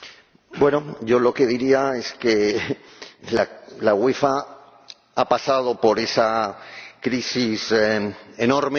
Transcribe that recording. Bueno, yo lo que diría es que la UEFA ha pasado por esa crisis enorme.